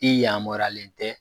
I yamɔriyalen tɛ